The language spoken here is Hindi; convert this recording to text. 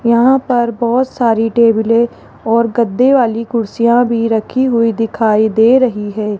यहां पर बहोत सारी टेबले और गद्दे वाली कुर्सियां भी रखी हुई दिखाई दे रही है।